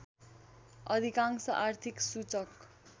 अधिकांश आर्थिक सूचक